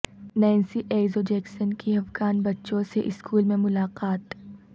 Nancy Izzo Jackson کی افغان بچوں سے اسکول میں ملاقات